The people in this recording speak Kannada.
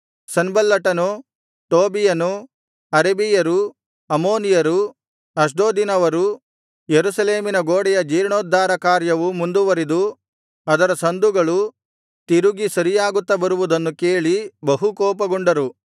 ಸನ್ಬಲ್ಲಟನೂ ಟೋಬೀಯನೂ ಅರಬಿಯರೂ ಅಮ್ಮೋನಿಯರೂ ಅಷ್ಡೋದಿನವರೂ ಯೆರೂಸಲೇಮಿನ ಗೋಡೆಯ ಜೀರ್ಣೋದ್ಧಾರ ಕಾರ್ಯವು ಮುಂದುವರಿದು ಅದರ ಸಂದುಗಳು ತಿರುಗಿ ಸರಿಯಾಗುತ್ತಾ ಬರುವುದನ್ನು ಕೇಳಿ ಬಹುಕೋಪಗೊಂಡರು